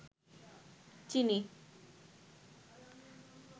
চিনি